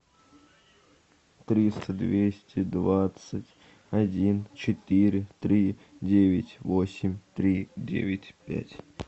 триста двести двадцать один четыре три девять восемь три девять пять